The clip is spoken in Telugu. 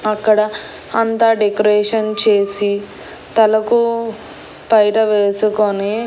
అక్కడ అంతా డెకరేషన్ చేసి తలకో పైట వేసుకొని.